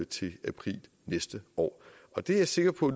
til april næste år og det er jeg sikker på